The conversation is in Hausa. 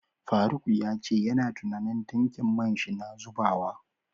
faruk yace yana tunanin tankin man shi na zubawa.